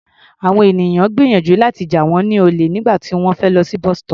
Àwọn ènìyàn gbìyànjú láti jà wọ́n lólè nígbà tí wọ́n fẹ́ lọ sí bus-stop.